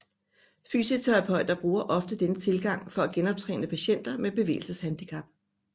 Fysioterapeuter bruger ofte denne tilgang for at genoptræne patienter med bevægelseshandicap